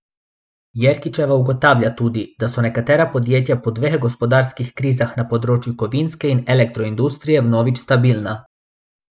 Jerkičeva ugotavlja tudi, da so nekatera podjetja po dveh gospodarskih krizah na področju kovinske in elektro industrije vnovič stabilna.